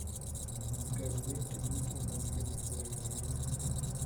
Kan wende duto mag eric wainaina